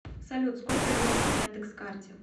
салют сколько денег на яндекс карте